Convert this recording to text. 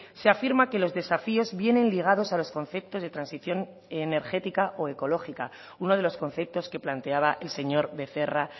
se afirma que los desafíos vienen ligados a los conceptos de transición energética o ecológica uno de los conceptos que planteaba el señor becerra